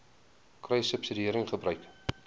kruissubsidiëringgebruik